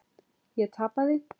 Ég tapaði.